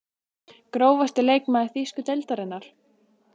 Grófasti leikmaður þýsku deildarinnar?